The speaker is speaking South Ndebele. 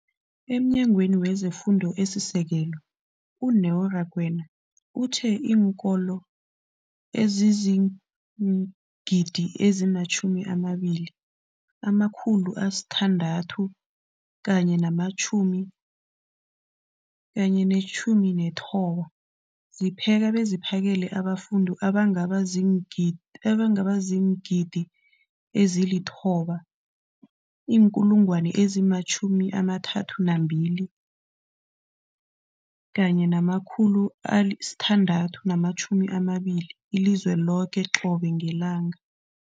EmNyangweni wezeFundo esiSekelo, u-Neo Rakwena, uthe iinkolo ezizi-20 619 zipheka beziphakele abafundi abangaba ziingid abangaba ziingidi ezili-9 032 622 elizweni loke qobe ngelanga.